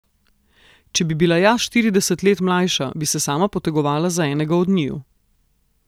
Če bi bila jaz štirideset let mlajša, bi se sama potegovala za enega od njiju.